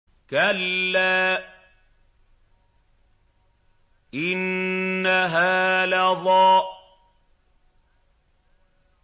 كَلَّا ۖ إِنَّهَا لَظَىٰ